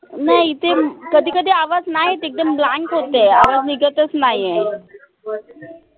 नाई इथे कधी कधी आवाज नाई येत एकदम blank होतंय. आवाज निघतच नाईया